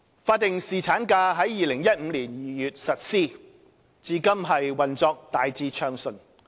法定侍產假於2015年2月實施，至今運作大致暢順。